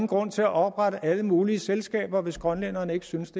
grund til at oprette alle mulige selskaber hvis grønlænderne ikke synes